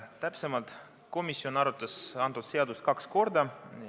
Täpsemalt, komisjon arutas seda seadust kaks korda.